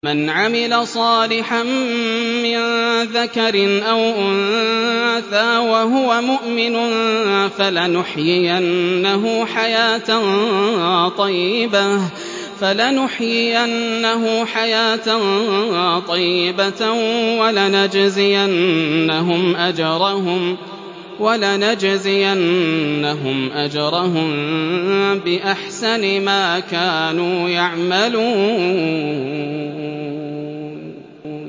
مَنْ عَمِلَ صَالِحًا مِّن ذَكَرٍ أَوْ أُنثَىٰ وَهُوَ مُؤْمِنٌ فَلَنُحْيِيَنَّهُ حَيَاةً طَيِّبَةً ۖ وَلَنَجْزِيَنَّهُمْ أَجْرَهُم بِأَحْسَنِ مَا كَانُوا يَعْمَلُونَ